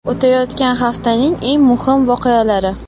O‘tayotgan haftaning eng muhim voqealari.